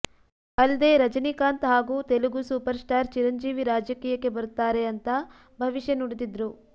ಅಲ್ದೇ ರಜಿನಿಕಾಂತ್ ಹಾಗೂ Telugu superstar Chiranjeevi ರಾಜಕೀಯಕ್ಕೆ ಬರ್ತಾರೆ ಅಂತಾ ಭವಿಷ್ಯ ನುಡಿದಿದ್ರು